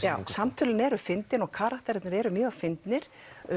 samtölin eru fyndin og karakterarnir eru mjög fyndnir